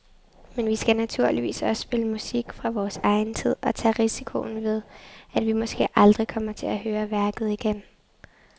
Men vi skal naturligvis også spille musik fra vores egen tid og tage risikoen ved, at vi måske aldrig kommer til at høre værket igen.